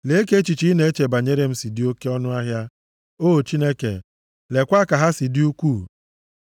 Lee ka echiche ị na-eche banyere m si dị oke ọnụahịa, o Chineke! Leekwa ka ha si dị ukwuu.